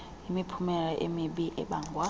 imiphumela emibi ebangwa